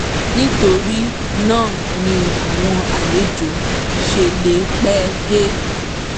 nítorí náà ni àwọn àlejò ṣe lè pẹ́ dé